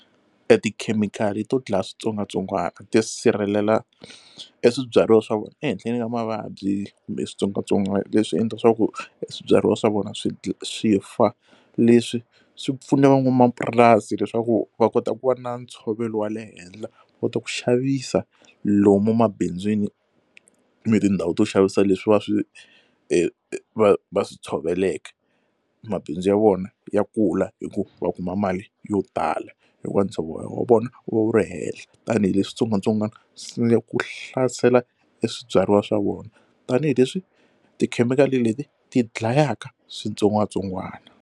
E tikhemikhali to dlaya switsongwatsongwana ti sirhelela e swibyariwa swa vona ehenhleni ka mavabyi kumbe switsongwatsongwana leswi endla leswaku swibyariwa swa vona swi swi fa leswi swi pfuna van'wamapurasi leswaku va kota ku va na ntshovelo wa le henhla va kota ku xavisa lomu emabindzwini ni tindhawu to xavisa leswi va swi va swi tshoveleke mabindzu ya vona ya kula hi ku va kuma mali yo tala hikuva ntshovelo wa vona wu va wu ri henhla tanihileswi switsongwatsongwana swi sungula ku hlasela e swibyariwa swa vona tanihileswi tikhemikhali leti ti dlayaka switsongwatsongwana.